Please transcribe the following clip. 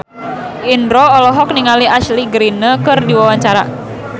Indro olohok ningali Ashley Greene keur diwawancara